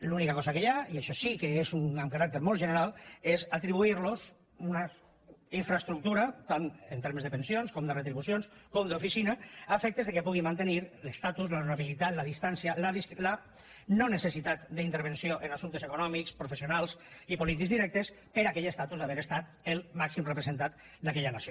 l’única cosa que hi ha i això sí que és amb caràcter molt general és atribuir los una infraestructura tant en termes de pensions com de retribucions com d’oficina a efectes que puguin mantenir l’estatus l’honorabilitat la distància la no necessitat d’intervenció en assumptes econòmics professionals i polítics directes per aquell estatus d’haver estat el màxim representant d’aquella nació